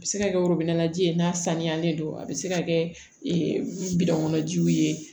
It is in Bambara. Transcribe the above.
A bɛ se ka kɛ ji ye n'a sanuyalen don a bɛ se ka kɛ bidɔn kɔnɔ jiw ye